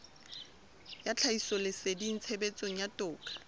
ya tlhahisoleseding tshebetsong ya toka